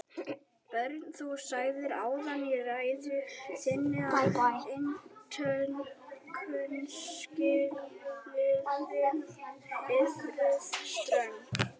Björn: Þú sagðir áðan í ræðu þinni að inntökuskilyrði yrðu ströng?